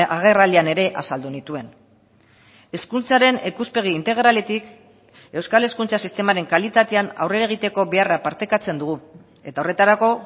agerraldian ere azaldu nituen hezkuntzaren ikuspegi integraletik euskal hezkuntza sistemaren kalitatean aurrera egiteko beharra partekatzen dugu eta horretarako